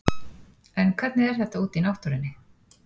En hvernig er þetta úti í náttúrunni?